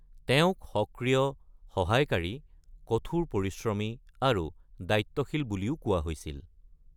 তেওঁ সক্ৰিয়, সহায়কাৰী, কঠোৰ পৰিশ্ৰমী আৰু দায়িত্বশীল বুলিও কোৱা হৈছিল।